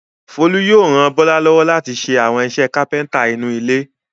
Folú yóò ra Bọ́lá lọ́wọ́ láti ṣe àwọn iṣẹ́ kápẹ́ńtà nínú ilé.